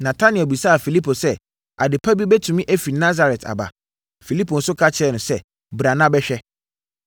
Natanael bisaa Filipo sɛ, “Ade pa bi bɛtumi afiri Nasaret aba?” Filipo nso ka kyerɛɛ no sɛ, “Bra na bɛhwɛ.”